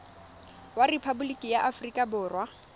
wa rephaboliki ya aforika borwa